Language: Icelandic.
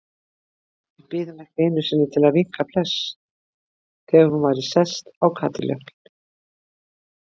Við biðum ekki einu sinni til að vinka bless þegar hún væri sest í kádiljákinn.